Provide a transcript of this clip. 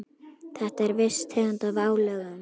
Þetta er viss tegund af álögum.